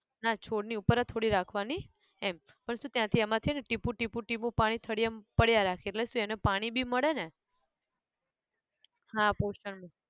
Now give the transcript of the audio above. ના છોડ ની ઉપર જ થોડી રાખવાની એમ, પણ ત્યાંથી આમાં છે ને ટીપું ટીપું ટીપું પાણી થડિયામ પડયા રાખે એટલે શું એને પાણી બી મળે ને, હા poster નું